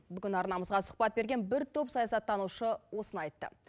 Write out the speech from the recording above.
бүгін арнамызға сұхбат берген бір топ саясаттанушы осыны айтты